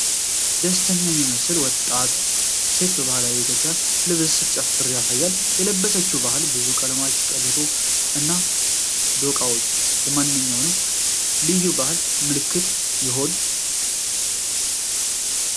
ደስተኛ የሚመስል ወጣት ሴት በባህላዊ የኢትዮጵያ ልብስ ስትጨፍር ያሳያል። የለበሰችው ባለ ብዙ ቀለም ቀበቶ እና ዶቃዎች የማንኛውንም ልዩ ባህል ምልክት ይሆኑ?